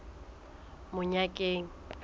monyakeng